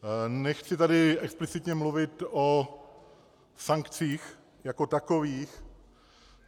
Nechci tady explicitně mluvit o sankcích jako takových.